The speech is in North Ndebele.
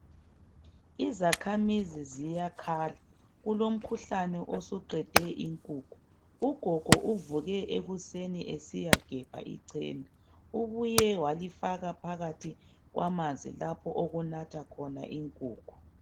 Izakhamizi ziyakhala kulomkhuhlane osuqede inkukhu, ugogo uvuke ekuseni esiyagebha icena ubuye walifaka phakathi kwamanzi lapho okunatha khona inkukhu.